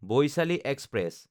Vaishali express